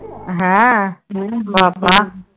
হ্যাঁ বাব্বাহ।